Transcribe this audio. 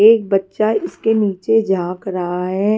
एक बच्चा इसके नीचे झांक रहा है।